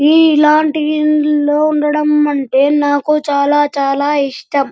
ఈ ఇలాంటి ఇల్లులో ఉండడం అంటే నాకు చాలా చాలా ఇష్టం.